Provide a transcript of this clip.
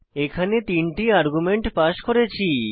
এখানে আমরা তিন আর্গুমেন্ট পাস করেছি